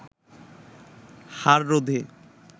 হার রোধে